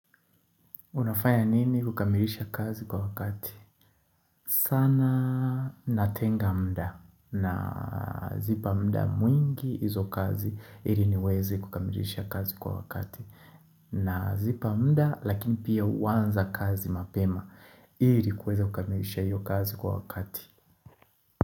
Unafanya nini kukamilisha kazi kwa wakati? Sana natenga muda nazipa muda mwingi hizo kazi ili niwezi kukamilisha kazi kwa wakati Nazipa muda lakini pia uanza kazi mapema ili kuweza kukamilisha hiyo kazi kwa wakati.